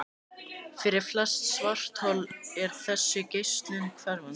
Fyrir flest svarthol er þessi geislun hverfandi.